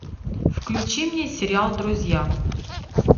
включи мне сериал друзья